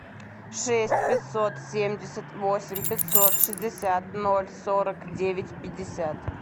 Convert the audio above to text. шесть пятьсот семьдесят восемь пятьсот шестьдесят ноль сорок девять пятьдесят